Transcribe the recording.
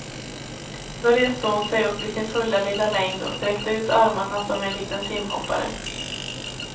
Då reste hon sig upp i sin fulla lilla längd och sträckte ut armarna som en liten simhoppare.